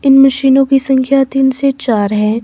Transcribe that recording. इन मशीनों की संख्या तीन से चार है।